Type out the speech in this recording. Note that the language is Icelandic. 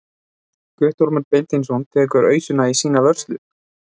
Guttormur Beinteinsson tekur ausuna í sína vörslu.